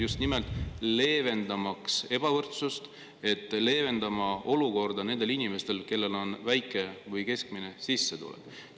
Just nimelt leevendamaks ebavõrdsust – et leevendada olukorda nendel inimestel, kellel on väike või keskmine sissetulek.